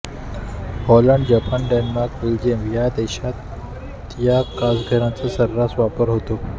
Holland Japan Denmark Belgium या देशात या काचघरांचा सर्रास वापर होत आहे